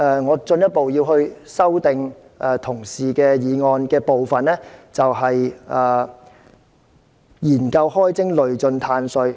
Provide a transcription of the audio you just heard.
我進一步修正議案的另一個原因，就是要提出研究開徵累進"碳稅"。